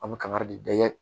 An bɛ kangari de